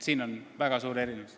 Siin on väga suur erinevus.